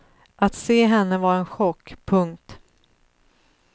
Att se henne var en chock. punkt